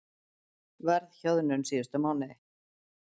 Verðhjöðnun síðustu mánuði